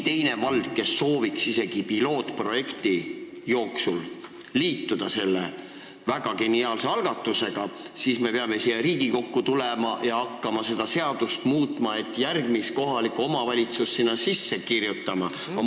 Kui veel mõni vald soovib pilootprojekti jooksul selle väga geniaalse algatusega liituda, siis me peame siia Riigikokku tulema ja hakkama seadust muutma, et sinna järgmist kohalikku omavalitsust sisse kirjutada.